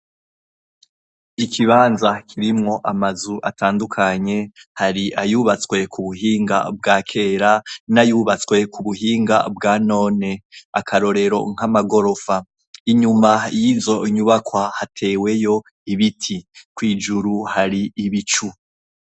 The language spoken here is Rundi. Ikibanza kirimwo amazu atandukanye, hari ayubatswe ku buhinga bwa kera n'ayubatswe ku buhinga bwa none, akarorero nk'amagorofa. Inyuma y'izo nyubakwa hateweyo ibiti, kw'ijuru hari ibicu.